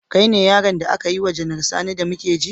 Kai ne yaron da aka yi wa Janar Sani da muke ji?